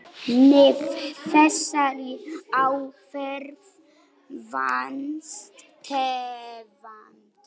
Með þessari aðferð vannst tvennt.